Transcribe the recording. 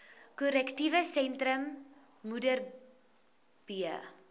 korrektiewe sentrum modderbee